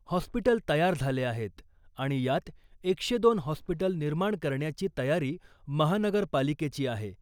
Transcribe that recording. Hospital तयार झाले आहेत आणि यात एकशे दोन हॉस्पिटल निर्माण करण्याची तयारी महानगरपालिकेची आहे .